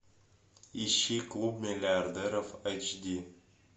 ищи клуб миллиардеров эйч ди